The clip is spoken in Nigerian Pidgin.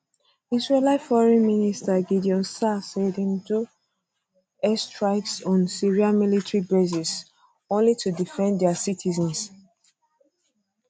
israeli foreign minister gideon saar say dem do dem do airstrikes on syria military bases only to defend dia citizens